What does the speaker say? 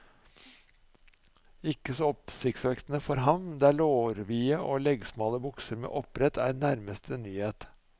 Ikke så oppsiktsvekkende for ham, der lårvide og leggsmale bukser med oppbrett er nærmeste nyhet.